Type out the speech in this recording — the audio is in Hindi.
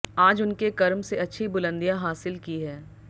आज उनके कर्म से अच्छी बुलंदियां हासिल की है